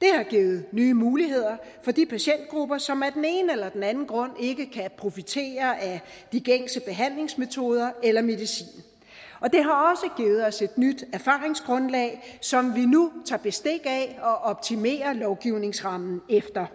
det har givet nye muligheder for de patientgrupper som af den ene eller den anden grund ikke kan profitere af de gængse behandlingsmetoder eller medicin og det har også os et nyt erfaringsgrundlag som vi nu tager bestik af og optimerer lovgivningsrammen efter